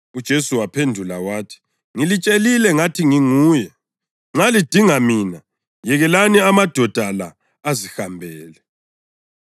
UJesu waphendula wathi, “Ngilitshelile ngathi nginguye. Nxa lidinga mina, yekelani amadoda la azihambele.”